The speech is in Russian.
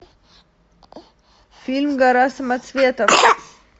фильм гора самоцветов